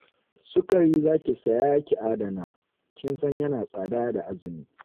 Sukari za ki saya ki adana, kin san yana tsada da azumi